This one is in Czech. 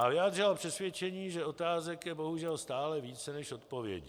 A vyjádřila přesvědčení, že otázek je bohužel stále více než odpovědí.